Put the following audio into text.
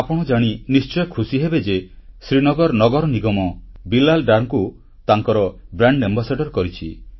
ଆପଣ ଜାଣି ନିଶ୍ଚୟ ଖୁସି ହେବେ ଯେ ଶ୍ରୀନଗର ନଗର ନିଗମ ବିଲାଲ୍ ଡରଙ୍କୁ ତାର ବ୍ରାଣ୍ଡ ଆମ୍ବାସାଡୋର କରିଛି